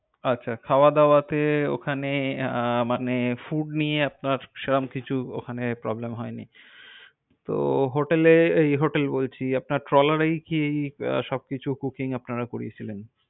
আচ্ছা, খাওয়া দাওয়া টে ওখানে আহ মানে, food নিয়ে আপনার সেরম কিছু, ওখানে problem হুয়নি। তো hotel এ, hotel বলছি, আপনার ট্রলার এই কি আহ সব কিছু cooking আপনারা করিয়ে ছিলেন?